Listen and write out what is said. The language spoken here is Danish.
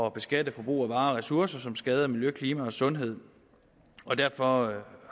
at beskatte forbrug af varer og ressourcer som skader miljø klima og sundhed og derfor